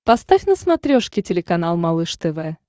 поставь на смотрешке телеканал малыш тв